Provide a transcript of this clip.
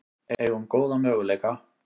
Eigum góða möguleika